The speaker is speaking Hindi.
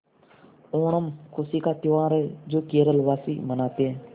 ओणम खुशी का त्यौहार है जो केरल वासी मनाते हैं